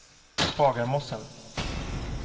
Bagarmossen